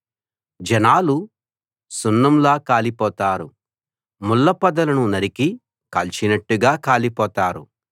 జనాలు సున్నంలా కాలిపోతారు ముళ్ళ పొదలను నరికి కాల్చినట్టుగా కాలిపోతారు